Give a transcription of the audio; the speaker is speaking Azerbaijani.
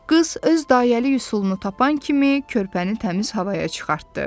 Qız öz dayəlik üsulunu tapan kimi körpəni təmiz havaya çıxartdı.